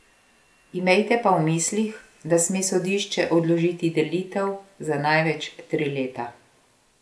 Imejte pa v mislih, da sme sodišče odložiti delitev za največ tri leta.